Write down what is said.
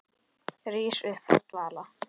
Rís upp af dvala.